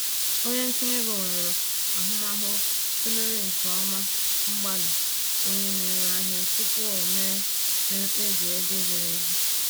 Onye ntinye ego nwere ahụmahụ tụlere nke ọma mgbalị onye na-ere ahịa tupu o mee mee mkpebi ego ziri ezi